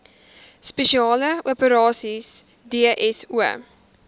spesiale operasies dso